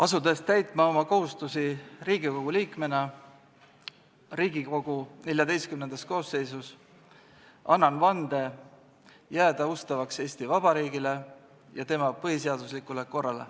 Asudes täitma oma kohustusi Riigikogu liikmena Riigikogu XIV koosseisus, annan vande jääda ustavaks Eesti Vabariigile ja tema põhiseaduslikule korrale.